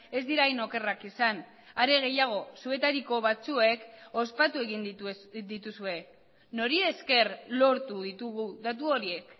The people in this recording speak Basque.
ez dira hain okerrak izan are gehiago zuetariko batzuek ospatu egin dituzue nori esker lortu ditugu datu horiek